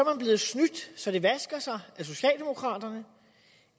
man blevet snydt så det vasker sig af socialdemokraterne